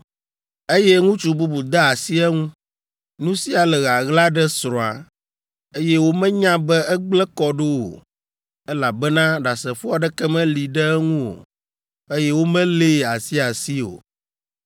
eye ŋutsu bubu de asi eŋu, nu sia le ɣaɣla ɖe srɔ̃a, eye womenya be egblẽ kɔ ɖo o (elabena ɖasefo aɖeke meli ɖe eŋu o, eye womelée asiasi o),